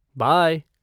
Bye!